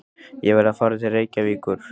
Ég verð að fara til Reykjavíkur!